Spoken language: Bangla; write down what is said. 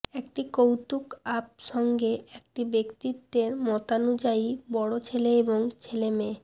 একটি কৌতুক আপ সঙ্গে একটি ব্যক্তিত্বের মতানুযায়ী বড় ছেলে এবং ছেলে মেয়ে